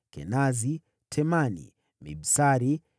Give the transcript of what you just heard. Kenazi, Temani, Mibsari,